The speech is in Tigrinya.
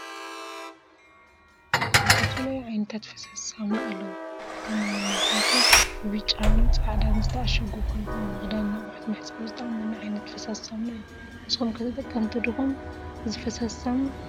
ዝተፈላለዩ ዓይነታት ፋሳሲ ሳሙና አለው ከም እንምልከቶ ብብጫን ፃዕዳን ዝተአሽጉ ኮይኑም ንክዳን ንአቀሑት መሕፀቢ ዝጠቅመና ዓይነት ፈሳሲ ሳሙና እዩ ።ንስኩም ከ ተጠቀምቲ ዲኩም እዚ ፈሳሲ ሳመና?